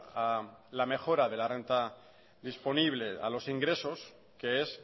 a la mejora de la renta disponible a los ingresos que es